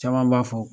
Caman b'a fɔ